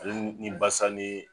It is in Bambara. Ale ni basa ni